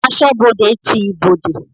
Asọ́bodè ti ibodè.